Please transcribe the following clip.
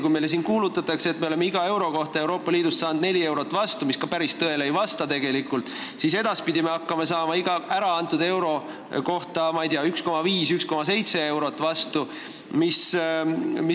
Kui meile siin kuulutatakse, et me oleme iga euro kohta Euroopa Liidust 4 eurot vastu saanud, mis tegelikult ka päris tõele ei vasta, siis edaspidi me hakkame iga äraantud euro kohta 1,5 või 1,7 eurot vastu saama.